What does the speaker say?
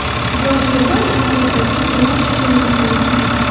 Joriy yilda ushbu ko‘rsatkich yana oshishi mumkin.